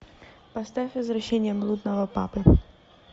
поставь возвращение блудного папы